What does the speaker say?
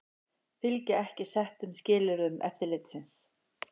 Fylgja ekki settum skilyrðum eftirlitsins